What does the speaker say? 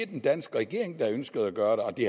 den danske regering ønsker at gøre og at det